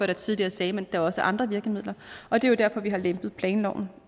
der tidligere sagde at der også er andre virkemidler og det er jo derfor vi har lempet planloven